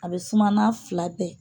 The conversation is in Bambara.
A bɛ suma n'a fila bɛɛ ye